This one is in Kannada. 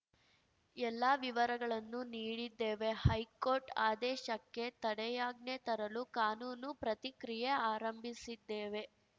ಎಲ್ಲ ವಿವರಗಳನ್ನೂ ನೀಡಿದ್ದೇವೆ ಹೈಕೋರ್ಟ್‌ ಆದೇಶಕ್ಕೆ ತಡೆಯಾಜ್ಞೆ ತರಲು ಕಾನೂನು ಪ್ರತಿಕ್ರಿಯೆ ಆರಂಭಿಸಿದ್ದೇವೆ